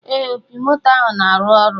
Ee, opi moto ahụ na-arụ ọrụ